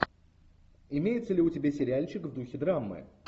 имеется ли у тебя сериальчик в духе драмы